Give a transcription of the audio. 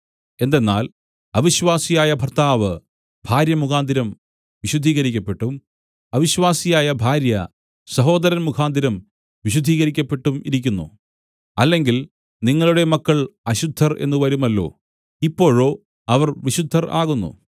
എന്തെന്നാൽ അവിശ്വാസിയായ ഭർത്താവ് ഭാര്യ മുഖാന്തരം വിശുദ്ധീകരിക്കപ്പെട്ടും അവിശ്വാസിയായ ഭാര്യ സഹോദരൻ മുഖാന്തരം വിശുദ്ധീകരിക്കപ്പെട്ടുമിരിക്കുന്നു അല്ലെങ്കിൽ നിങ്ങളുടെ മക്കൾ അശുദ്ധർ എന്ന് വരുമല്ലോ ഇപ്പോഴോ അവർ വിശുദ്ധർ ആകുന്നു